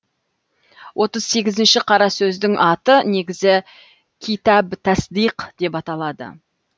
отыз сегізінші қара сөздің аты негізі китаб тасдиқ деп аталады